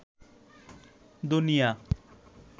দুনিয়া